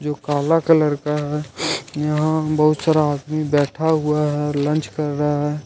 वो काला कलर का है यहां बहुत सारा आदमी बैठा हुआ है लंच कर रहा है।